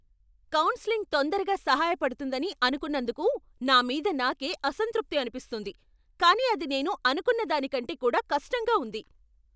Counselling తొందరగా సహాయపడుతుందని అనుకున్నందుకు నా మీద నాకే అసంతృప్తి అనిపిస్తుంది, కానీ అది నేను అనుకున్న దాని కంటే కూడా కష్టంగా ఉంది.